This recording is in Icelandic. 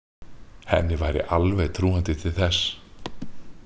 Henni væri alveg trúandi til þess.